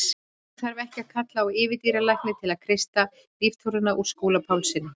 Nú þarf ekki að kalla á yfirdýralækni til að kreista líftóruna úr Skúla Pálssyni.